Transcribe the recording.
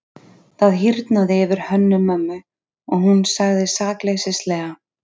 Það hýrnaði yfir Hönnu-Mömmu og hún sagði sakleysislega:-